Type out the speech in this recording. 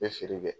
N bɛ feere kɛ